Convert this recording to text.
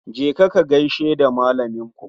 Je ka ka gaishe da malaminku